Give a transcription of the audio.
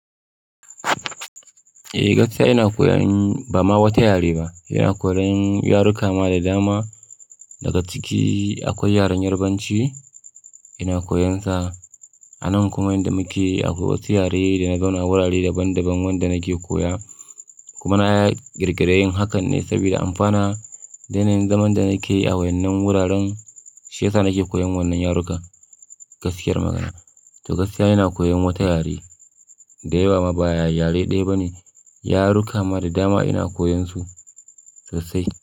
Eh, gaskiya ina koyan ba ma wata yare ba. Ina koyan yaruka ma da dama. Daga ciki akwai yaren Yarbanci ina koyansa. Anan kuma inda muke akwai wasu yare da na zauna wurare daban daban wanda nake koya. Kuma na girgire yin hakan ne saboda amfana. Yana yin zaman da nake yi a wannan wuraren shiyasa nake koyan wannan yarukan. Gaskiyar magana, to gaskiya ina koyan wata yare. Da yawa ma baya yare ɗaya ba ne, yaruka ma da dama ina koyansu sosai.